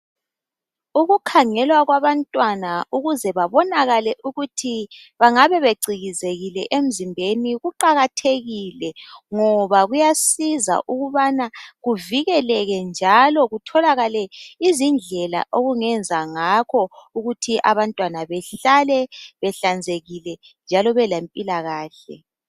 Ukukhangelwa kwabantwana ukuze babonakale ukuthi bangabe becikizekile emzimbeni kuqakathekile, ngoba kuyasiza ukubana kuvikeleke njalo kutholakale izindlela okungenza ngakho ukuthi abantwana behlale behlanzekile njalo belempilakahle.